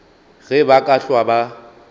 ge ba ka hlwa ba